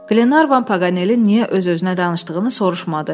Glevan Pagalın niyə öz-özünə danışdığını soruşmadı.